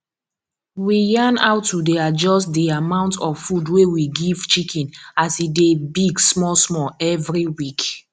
we yarn how to dey adjust di amount of food wey we give chicken as e dey big smallsmall every week